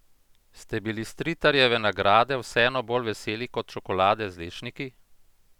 Ste bili Stritarjeve nagrade vseeno bolj veseli kot čokolade z lešniki?